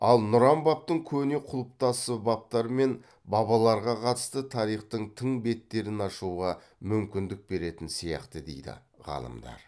ал нұран бабтың көне құлыптасы бабтар мен бабаларға қатысты тарихтың тың беттерін ашуға мүмкіндік беретін сияқты дейді ғалымдар